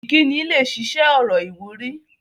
Ìkíni lẹ ṣiṣẹ́ ọ̀rọ̀ ìwúrí